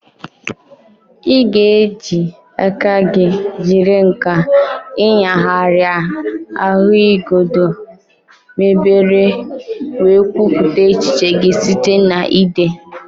Ị ga-eji aka gị jiri nkà ịnyagharịa ahụigodo mebere wee kwupụta echiche gị site na ide.